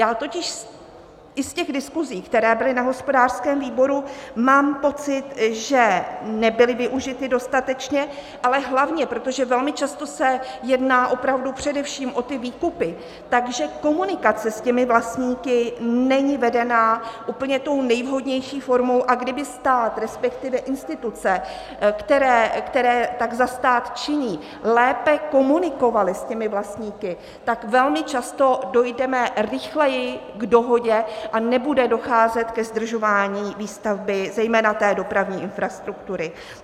Já totiž i z těch diskusí, které byly na hospodářském výboru, mám pocit, že nebyly využity dostatečně, ale hlavně, protože velmi často se jedná opravdu především o ty výkupy, že komunikace s těmi vlastníky není vedena úplně tou nejvhodnější formou, a kdyby stát, respektive instituce, které tak za stát činí, lépe komunikovaly s těmi vlastníky, tak velmi často dojdeme rychleji k dohodě a nebude docházet ke zdržování výstavby zejména té dopravní infrastruktury.